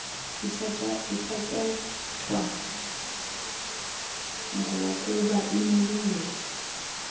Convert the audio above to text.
ithatyathwa bgokuba inelungelo